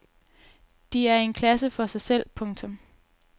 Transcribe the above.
De er i en klasse for sig selv. punktum